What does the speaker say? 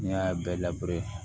N'i y'a bɛɛ